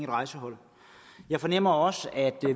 rejsehold jeg fornemmer også at